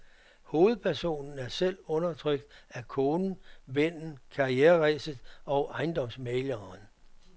Hovedpersonen er selv undertrykt af konen, vennen, karriereræset og ejendomsmægleren.